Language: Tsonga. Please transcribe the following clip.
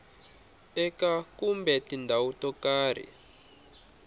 eka kumbe tindhawu to karhi